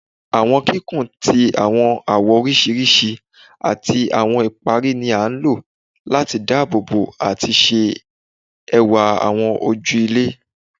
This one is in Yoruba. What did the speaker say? Awọn kikun ti awọn awọ oriṣiriṣi ati awọn ipari ni a lo lati daabobo ati ṣe ẹwa awọn oju ilẹ